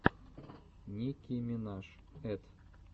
ники минаж эт